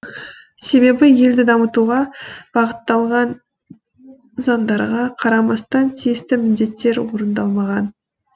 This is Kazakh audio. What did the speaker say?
себебі елді дамытуға бағытталған заңдарға қарамастан тиісті міндеттер орындалмаған